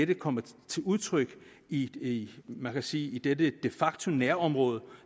de kommer til udtryk i man kan sige dette de facto nærområde